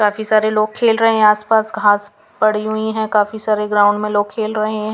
काफी सारे लोग खेल रहे हैं आसपास घास पड़ी हुई है काफी सारे ग्राउंड में लोग खेल रहे हैं.